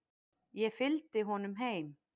Ég fylgdi honum heim.